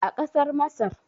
a kasar masar